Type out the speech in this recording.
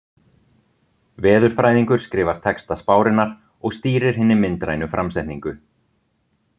Veðurfræðingur skrifar texta spárinnar og stýrir hinni myndrænu framsetningu.